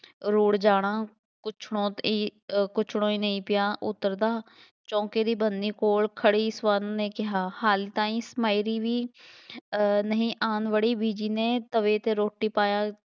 ਰੁੜ੍ਹ ਜਾਣਾ ਕੁੱਛੜੋਂ ਈਂ ਅਹ ਕੁੱਛੜੋਂ ਨਹੀਂ ਪਿਆ ਉਤਰਦਾ, ਚੌਂਕੇਂ ਦੀ ਬੰਨ੍ਹੀ ਕੋਲ ਖੜ੍ਹੀ ਸਵਰਨ ਨੇ ਕਿਹਾ, ਹਾਲੇ ਤਾਂਈਂ ਸਮਾਇਲੀ ਵੀ ਅਹ ਨਹੀਂ ਆਉਣ ਵੜੀ, ਬੀਜੀ ਨੇ ਤਵੇ 'ਤੇ ਰੋਟੀ ਪਾਇਆ